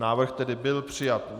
Návrh tedy byl přijat.